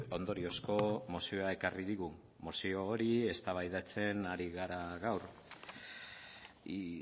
ondoriozko mozioa ekarri digu mozio hori eztabaidatzen ari gara gaur y